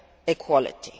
equality,